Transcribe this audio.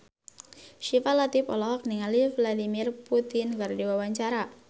Syifa Latief olohok ningali Vladimir Putin keur diwawancara